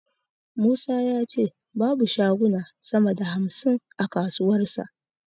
Musa ya ce babu shaguna sama da hamsin a kasuwarsa.